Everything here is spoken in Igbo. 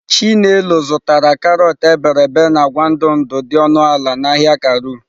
Chinelo zụtara karọt iberibe na agwa ndụ ndụ dị ọnụ ala n'ahịa Karu.